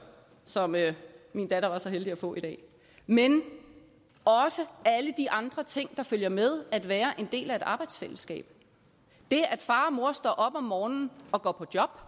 som min datter var så heldig at få i dag men også alle de andre ting der følger med at være en del af et arbejdsfællesskab det at far og mor står op om morgenen og går på job